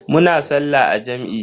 Muna sallah a jam'i.